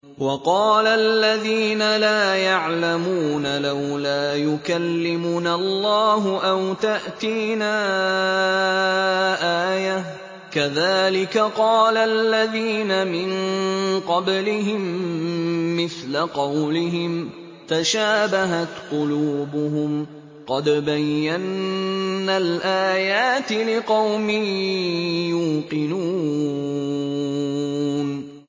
وَقَالَ الَّذِينَ لَا يَعْلَمُونَ لَوْلَا يُكَلِّمُنَا اللَّهُ أَوْ تَأْتِينَا آيَةٌ ۗ كَذَٰلِكَ قَالَ الَّذِينَ مِن قَبْلِهِم مِّثْلَ قَوْلِهِمْ ۘ تَشَابَهَتْ قُلُوبُهُمْ ۗ قَدْ بَيَّنَّا الْآيَاتِ لِقَوْمٍ يُوقِنُونَ